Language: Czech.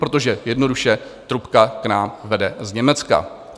Protože jednoduše, trubka k nám vede z Německa.